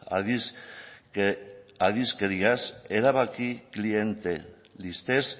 erabaki klientelistez